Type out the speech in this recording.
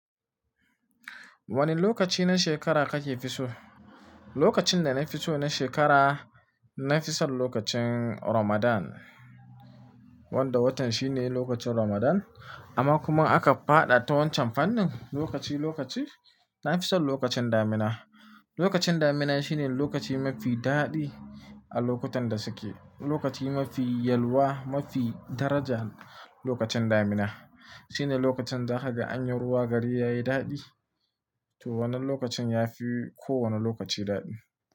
Wane lokaci na shekara kake fi so? Lokacin da nafi so na shekara, nafi son lokacin Ramadan. Wanda watan shine lokacin Ramadan. Amma kuma in aka faɗa ta wancan fannin, lokaci lokaci, nafi son lokacin damina. Lokacin damina shine lokaci mafi daɗi a lokutan da suke. Lokaci mafi yalwa, mafi daraja, lokacin damina. Shine lokacin da kaga anyin ruwa gari yayi daɗi, to wannan lokacin yafi kowane lokaci daɗi.